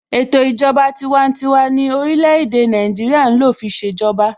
Ètò ìjọba tiwantiwa ni orílẹ̀-èdè Nàìjíríà ń lò fi ṣèjọba.